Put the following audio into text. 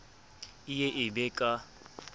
e ye e be ka